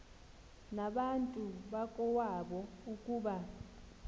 nabantu bakowabo ukuba